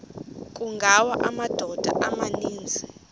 kungawa amadoda amaninzi